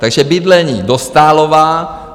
Takže bydlení, Dostálová.